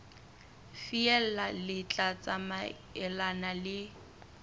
feela le tla tsamaelana le